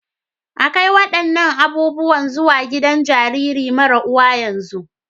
A kai waɗannan abubuwan zuwa gidan jaririn mara uwa yanzu!